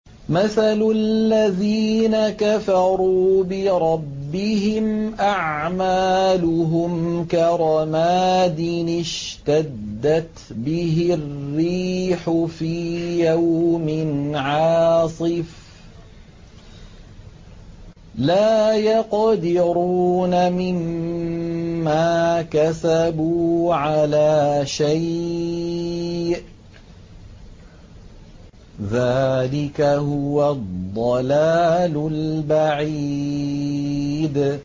مَّثَلُ الَّذِينَ كَفَرُوا بِرَبِّهِمْ ۖ أَعْمَالُهُمْ كَرَمَادٍ اشْتَدَّتْ بِهِ الرِّيحُ فِي يَوْمٍ عَاصِفٍ ۖ لَّا يَقْدِرُونَ مِمَّا كَسَبُوا عَلَىٰ شَيْءٍ ۚ ذَٰلِكَ هُوَ الضَّلَالُ الْبَعِيدُ